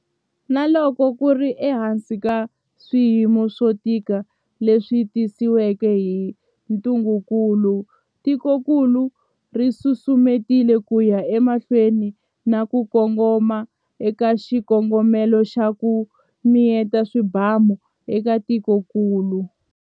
Na loko ku ri ehansi ka swiyimo swo tika leswi tisiweke hi ntungukulu, tikokulu ri susumetile ku ya emahlweni na ku kongoma eka xikongomelo xa 'ku mi yeta swibamu' eka tikokulu.